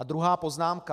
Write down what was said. A druhá poznámka.